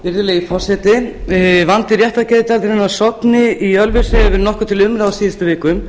virðulegi forseti vandi réttargeðdeildarinnar á sogni í ölfusi hefur nokkuð verið til umræðu á síðustu vikum